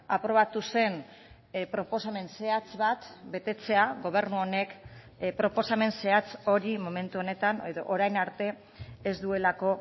aprobatu zen proposamen zehatz bat betetzea gobernu honek proposamen zehatz hori momentu honetan edo orain arte ez duelako